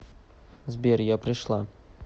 сбер я пришла